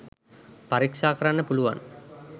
පරික්ෂා කරන්න පුළුවන්.